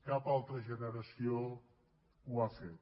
cap altra generació ho ha fet